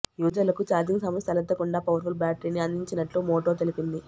యూజర్లకు charging సమస్య తలెత్తకుండా powerful బ్యాటరీని అందించినట్లు మోటో తెలిపింది